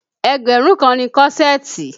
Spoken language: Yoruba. Ẹgbẹ̀rún kan ni kọ́ṣẹ̀ẹ̀tì